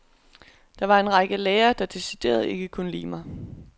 Der var en række lærere, der decideret ikke kunne lide mig.